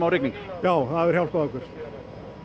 rigning já það hefur hjálpað okkur